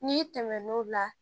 N'i tɛmɛn'o la